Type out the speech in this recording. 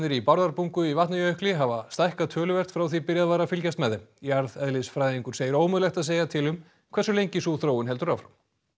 í Bárðarbungu í Vatnajökli hafa stækkað töluvert frá því byrjað var að fylgjast með þeim jarðeðlisfræðingur segir ómögulegt að segja til um hversu lengi sú þróun heldur áfram